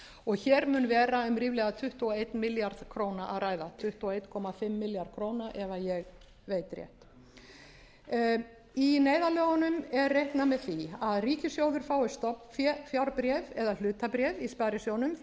og sjö hér mun vera um ríflega tuttugu og einn milljarð króna að ræða tuttugu og eins og hálfan milljarð króna ef ég veit rétt í neyðarlögunum er reiknað með því að ríkissjóður fái stofnfjárbréf eða hlutabréf í sparisjóðnum því að